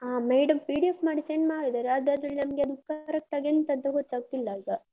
ಹ madam PDF ಮಾಡಿ send ಮಾಡಿದಾರೆ, ಆದ್ರೆ ಅದ್ರಲ್ಲಿ ನಮ್ಗೆ ಅದು correct ಆಗಿ ಎಂತ ಅಂತ ಗೊತ್ತಾಗ್ತಿಲ್ಲ ಈಗ.